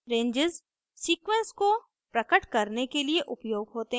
ranges sequence को प्रकट करने के लिए उपयोग होते हैं